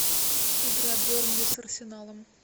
игра бернли с арсеналом